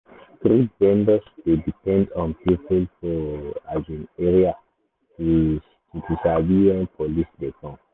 street vendors dey depend on people for um area to to sabi when police dey come.